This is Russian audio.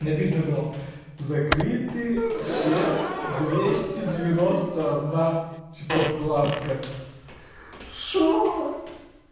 написано было закрыты все двести девяносто одна типа вкладка что